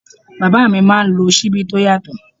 Bàbá mi máa ń lò Ṣíbí tó yàtọ̀.